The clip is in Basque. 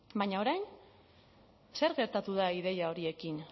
baina orain zer gertatu da ideia horiekin